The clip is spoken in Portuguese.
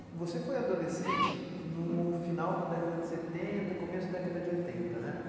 E você foi adolescente no final da década de setenta, começo da década de oitenta, né?